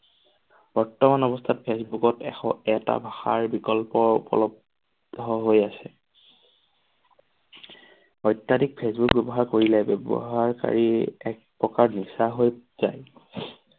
বৰ্তমান অৱস্থাত ফেচবুকত এশ এটা ভাষাৰ বিকল্প উপলব্ধ হৈ আছে। অত্যাধিক ফেচবুক ব্যৱহাৰ কৰিলে ব্যৱহাৰ কাৰী এক প্ৰকাৰ নিচা হৈ যায়।